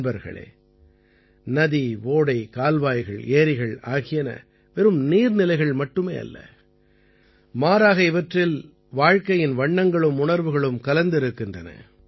நண்பர்களே நதி ஓடை கால்வாய்கள் ஏரிகள் ஆகியன வெறும் நீர்நிலைகள் மட்டுமே அல்ல மாறாக இவற்றில் வாழ்க்கையின் வண்ணங்களும் உணர்வுகளும் கலந்திருக்கின்றன